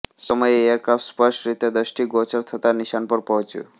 સમયે એરક્રાફટ સ્પષ્ટ રીતે દષ્ટિગોચર થતા નિશાન પર પહોંચ્યું